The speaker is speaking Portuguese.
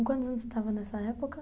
Com quantos anos você estava nessa época?